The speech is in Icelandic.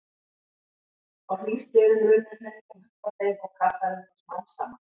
Á hlýskeiðum runnu hraunlög upp að þeim og kaffærðu þá smám saman.